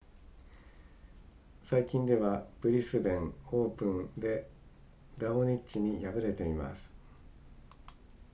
最近ではブリスベンオープンでラオニッチに敗れています